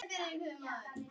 Justin Thomas.